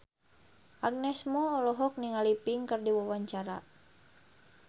Agnes Mo olohok ningali Pink keur diwawancara